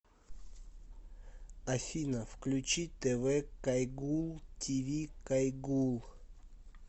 афина включи тэ вэ кайгуул ти ви кайгуул